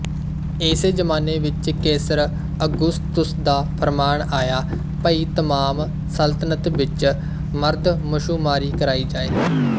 ਇਸੇ ਜ਼ਮਾਨੇ ਵਿੱਚ ਕੇਸਰ ਅਗ਼ੁਸਤੁਸ ਦਾ ਫ਼ਰਮਾਨ ਆਇਆ ਭਈ ਤਮਾਮ ਸਲਤਨਤ ਵਿੱਚ ਮਰਦਮਸ਼ੁਮਾਰੀ ਕਰਾਈ ਜਾਏ